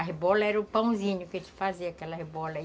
As bolas eram o pãezinhos que a gente fazia, aquela bola.